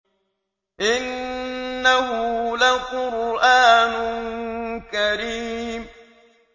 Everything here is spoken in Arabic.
إِنَّهُ لَقُرْآنٌ كَرِيمٌ